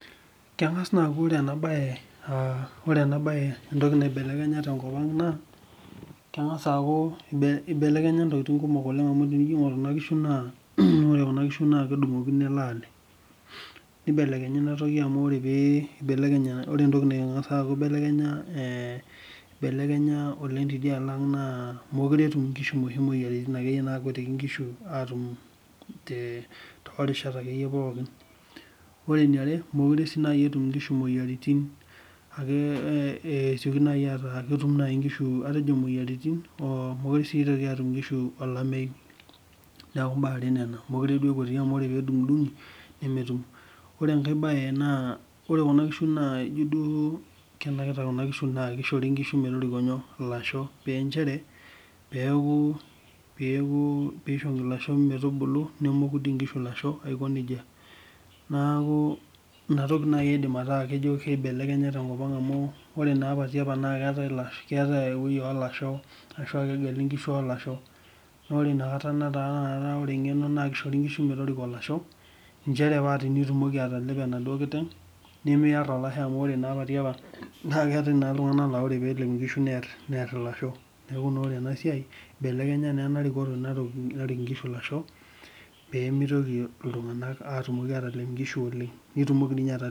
Keng'as naa aaku ore ena baye uh ore ena baye entoki naibelekenya tenkop ang naa keng'as aaku ibe ibelekenya intokiting kumok oleng amu tenijio aing'orr kuna kishu naa ore kuna kishu naa kedung'okino ele ale nibelekenya inatoki amu ore pee ibelekenya ore entoki nang'asi aaku ibelekenya eh ibelekenya oleng tiadialo ang naa mokure etum inkishu inoshi moyiaritin akeyie nakuetiki inkishu aatum te toorishat akeyie yie pookin ore eniare miokure sii naai etum inkishu imoyiaritin ake eh esioki nai ataa ketum naaji inkishu atejo moyiaritin oh mokure sii itoki atum inkishu olamei niaku imbaa are nena mokure duo epuoti amu ore pedung'idung'i nemetum ore enkae baye naa ore kuna kishu naa ijio duo kenakita kuna kishu naa kishori inkishu metoriko inyoo ilasho penchere peeku peeku piishori ilasho metubulu nemoku dii inkishu ilasho aiko nejia naaku inatoki naaji aidim ataa kejo keibelekenya tenkop ang amu ore naa apa tiapa naa keetae ilasho keetae ewuei olasho ashu kegeli inkishu olasho nore inakata netaa ore inakata ore eng'eno naa kishori inkishu metoriko ilasho inchere paa tinitumoki atalepo enaduo kiteng nimiarr olashe amu ore naa apa tiapa naa keetae naa iltung'anak naa ore peelep inkishu nerr nerr ilasho neeku ore naa ena siai ibelekenya naa ena rikoto naruk narik inkishu ilasho pemitoki iltung'anak attumoki atalep inkishu oleng nitumoki dii inye ata.